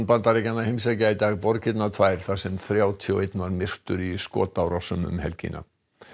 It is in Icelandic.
Bandaríkjanna heimsækja í dag borgirnar tvær þar sem þrjátíu og einn var myrtur í skotárásum um helgina